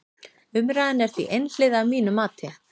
Umræðan er því einhliða að mínu mati.